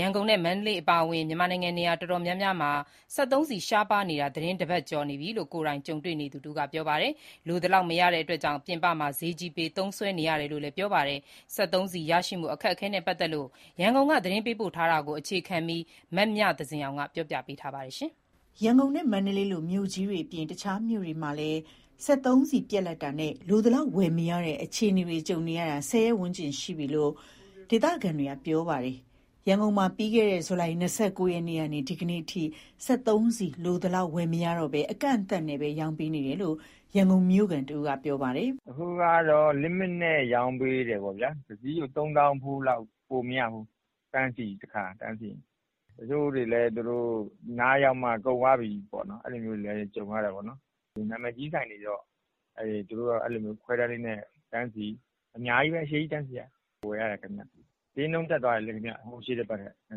ရန်ကုန်နဲ့ မန္တလေးအပါအဝင် မြန်မာနိုင်ငံနေရာ တော်တော်များများမှာ စက်သုံးဆီရှားပါးနေတာ သီတင်း ၁ ပတ် ကျော်ပြီလို့ ကိုယ်တိုင်ကြုံသူတွေက ပြောပါတယ်။ လိုသလောက် မရတာကြောင့် ပြင်ပမှာ ဈေးကြီးပေး သုံးစွဲနေရတယ်လို့လည်း ပြောပါတယ်။ စက်သုံးဆီရရှိမှု အခက်အခဲနဲ့ ပတ်သက်လို့ ရန်ကုန်က သတင်းပေးပို့ထားတာကို အခြေခံပြီး မမြသဇင်အောင် တင်ပြထားပါတယ်။ ရန်ကုန်နဲ့ မန္တလေးလို မြို့ကြီးတွေအပြင် တခြားမြို့တွေမှာလည်း စက်သုံးဆီပြတ်လပ်တာနဲ့ လိုသလောက်ဝယ်မရတဲ့ အခြေအနေတွေ ကြုံနေရတာ ၁၀ ရက်ဝန်းကျင်ရှိပြီလို့ ဒေသခံတွေက ပြောပါတယ်။ ရန်ကုန်မြို့မှာ ပြီးခဲ့တဲ့ ဇူလိုင်လ ၂၉ ရက်နေ့ကနေ ဒီကနေ့အထိ စက်သုံးဆီလိုသလောက် ဝယ်မရတော့ဘဲ အကန့်အသတ်နဲ့သာ ရောင်းပေးနေတယ်လို့ ရန်ကုန်မြို့ခံတဦးက ပြောပါတယ်။ "အခုကတော့ Limit နဲ့ ရောင်းပေးတယ်ပေါ့ဗျာ။ တစီးကို ၃ သောင်းဖိုးလောက် ပိုမရဘူး။ တန်းစီနေရတာပဲ။ တချို့တွေလည်း သူတို့အနားရောက်မှ ကုန်သွားပြီပေါ့။ အဲလိုမျိုးတွေလည်း ကြုံရတာပေါ့။ ဆိုင်တိုင်းလည်းမရဘူး။ နာမည်ကြီးဆိုင်တွေကတော့ ခွဲတန်းလေးနဲ့ အများကြီးတန်းစီပြီးမှ ဝယ်ရတယ်ခင်ဗျ။ ဈေးနှုန်း ရှေ့တပတ်က နည်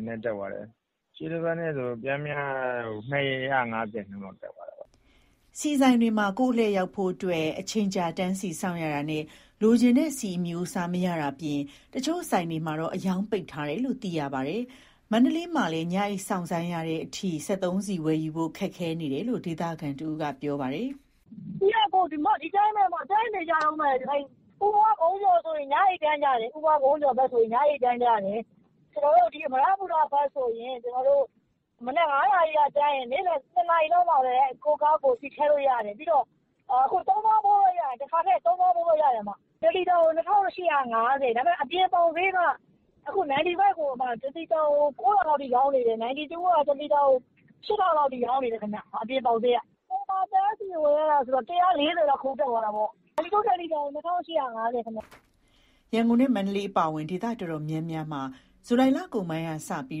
းနည်းတက်သွားတယ်။ တလီတာကို ပျမ်းမျှ ၂၅၀ လောက်တက်သွားတယ်။" ဆီဆိုင်တွေမှာ ကိုယ့်အလှည့်ရောက်ဖို့ အချိန်ကြာတန်းစီ စောင့်ဆိုင်းရတာနဲ့ လိုချင်တဲ့ဆီအမျိုးအစား မရနိုင်တာအပြင် တချို့ဆိုင်တွေက အရောင်းပိတ်ထားတယ်လို့ သိရပါတယ်။ မန္တလေးမြို့မှာလည်း ညအိပ်စောင့်ဆိုင်းရတဲ့အထိ စက်သုံးဆီဝယ်ယူနိုင်ဖို့ ခက်ခဲနေတယ်လို့ ဒေသခံတဦးက ပြောပါတယ်။ "ဆီက ဒီအတိုင်းပဲ တန်းစီနေရတုန်းပဲ။ ဦးပွားကုန်းကျော်ဘက်မှာဆို ညအိပ်တန်းစီကြတယ်။ အမရပူရဘက်ဆိုရင် မနက် ၅နာရီက တန်းစီရင် နေ့လည် ၁နာရီလောက်မှပဲ ကိုယ့်ကားကိုယ် ဆီထည့်လို့ရတယ်။ အခု တခါထည့်ရင် ၃သောင်းဖိုးပဲရတယ်။ တလီတာကို ၂,၈၅၀။ ဒါပေမဲ့ အပြင်ပေါက်ဈေးက 95 တလီတာကို ၉,၀၀၀ လောက်အထိ ရောင်းနေတယ်။ 92 တလီတာကို ၈,၀၀၀ လောက်အထိ ရောင်းနေတယ်ဗျ။ အဲဒါတွေက အပြင်ပေါက်ဈေး။ ဆိုင်မှာတန်းစီ ဝယ်ရတာက တလီတာကို ပျမ်းမျှ ၁၄၀ လောက် ခုန်တက်သွားတာပေါ့။ ဆိုင်တန်းစီဈေးက 92 တလီတာကို ၂,၈၅၀ ခင်ဗျ။" ရန်ကုန်နဲ့ မန္တလေးအပါအဝင် ဒေသတော်တော်များများမှာ ဇူလိုင်လကုန်ပိုင်းလောက်ကစပြီး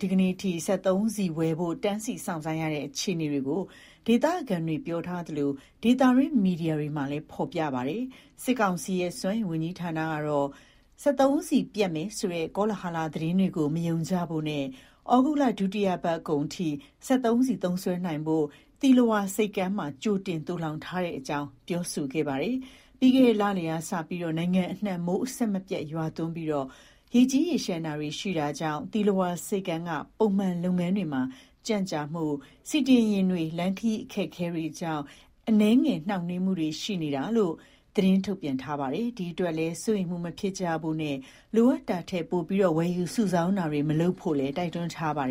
ဒီကနေ့အထိ စက်သုံးဆီဝယ်ယူဖို့ တန်းစီစောင့်ဆိုင်းနေရတဲ့ အခြေအနေကို ဒေသခံတွေပြောထားသလို၊ ဒေသတွင်းမီဒီယာတွေမှာလည်း ဖော်ပြကြပါတယ်။ စစ်ကောင်စီရဲ့ စွမ်းအင်ဝန်ကြီးဌာနကတော့ စက်သုံးဆီပြတ်လပ်မယ်ဆိုတဲ့ ကောလဟာလသတင်းတွေကို မယုံကြဖို့နဲ့ ဩဂုတ်လ ဒုတိယပတ်ကုန်အထိ စက်သုံးဆီသုံးစွဲနိုင်ဖို့ကို သီလဝါဆိပ်ကမ်းမှာ ကြိုတင်သိုလှောင်ထားကြောင်း ပြောဆိုခဲ့တာပါ။ ပြီးခဲ့တဲ့ လလယ်ကစ နိုင်ငံအနှံ့ မိုးအဆက်မပြတ် ရွာသွန်းပြီး ရေကြီးရေလျှံတာတွေ ရှိခဲ့တာကြောင့် သီလဝါ ဆိပ်ကမ်းက ပုံမှန်လုပ်ငန်းတွေမှာ ကြန့်ကြာမှု၊ ဆီတင်ယာဉ်တွေ လမ်းခရီး အခက်အခဲတွေကြောင့် အနည်းငယ် နှောင့်နှေးမှုတွေ ရှိနေတာလို့ သတင်းထုတ်ပြန်ထားပါတယ်။ ဒီအတွက်လည်း စိုးရိမ်မှုမဖြစ်ကြဖို့နဲ့ လိုအပ်တာထက် ပိုမိုဝယ်ယူ စုဆောင်းတာတွေ မလုပ်ဖို့လည်း တိုက်တွန်းထားပါတယ်